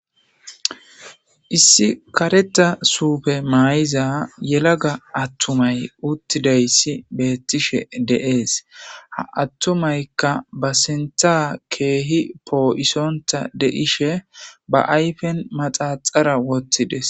Issi kareta suufe mayiza yelaga attumay uttidayssi beettishe dees. Ha attumaykka ba sinta keehi poo'isonta de'ishe ba ayfen maxaxara wottidees.